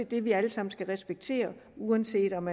det vi alle sammen skal respektere uanset om